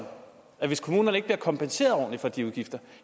at hvis kommunerne ikke bliver kompenseret ordentlig for de udgifter